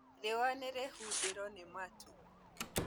Rĩũa nĩrĩhumbĩro nĩ matu